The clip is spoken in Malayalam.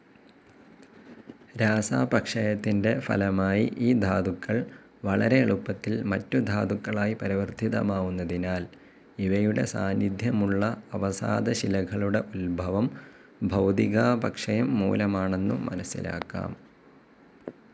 രാസാപക്ഷയത്തിന്റെ ഫലമായി ഈ ധാതുക്കൾ വളരെ എളുപ്പത്തിൽ മറ്റു ധാതുക്കളായി പരിവർത്തിതമാവുന്നതിനാൽ, ഇവയുടെ സാന്നിധ്യമുള്ള അവസാദശിലകളുടെ ഉദ്ഭവം ഭൗതികാപക്ഷയംമൂലമാണെന്നു മനസ്സിലാക്കാം.